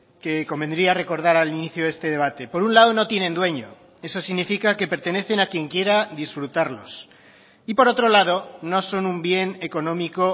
que convendría recordar al inicio de este debate por un lado no tienen dueño eso significa que pertenecen a quien quiera disfrutarlos y por otro lado no son un bien económico